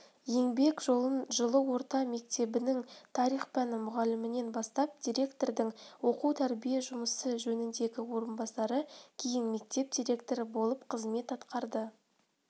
еңбек жолын жылы орта мектептің тарих пәні мұғалімінен бастап директордың оқу-тәрбие жұмысы жөніндегі орынбасары кейін мектеп директоры болып қызмет атқарды